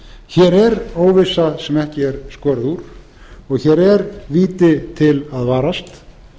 hér er óvissa sem ekki er skorið úr og hér er víti til að varast